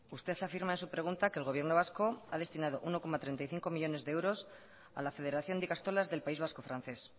usted afirma en su pregunta que el gobierno vasco a destinado uno coma treinta y cinco millónes de euros a la federación de ikastolas del país vasco francés